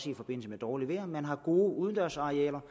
i forbindelse med dårligt vejr og så man har gode udendørsarealer